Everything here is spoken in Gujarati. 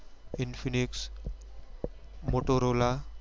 Infinix motorola